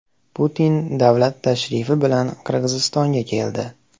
Putin davlat tashrifi bilan Qirg‘izistonga keldi.